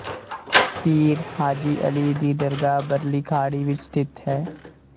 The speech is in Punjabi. ਪੀਰ ਹਾਜੀ ਅਲੀ ਦੀ ਦਰਗਾਹ ਬਰਲੀ ਖਾੜੀ ਵਿੱਚ ਸਥਿਤ ਹੈ